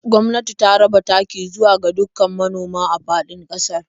Gwamnati ta raba taki zuwa ga dukkan manoma a faɗin ƙasar.